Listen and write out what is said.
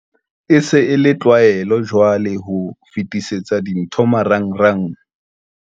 E se e le tlwaelo jwale ho fetisetsana dintho marangrang.